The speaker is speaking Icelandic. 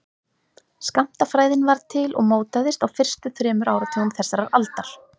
Skammtafræðin varð til og mótaðist á fyrstu þremur áratugum þessarar aldar.